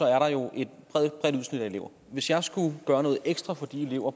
er der jo et bredt udsnit af elever hvis jeg skulle gøre noget ekstra for de elever